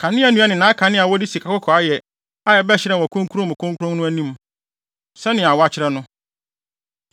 kanea nnua ne nʼakanea a wɔde sikakɔkɔɔ ayɛ a ɛbɛhyerɛn wɔ Kronkron mu Kronkron no anim sɛnea wɔakyerɛ no;